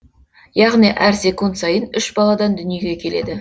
яғни әр секунд сайын үш баладан дүниеге келеді